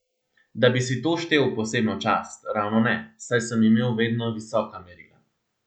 Da bi si to štel v posebno čast, ravno ne, saj sem imel vedno visoka merila.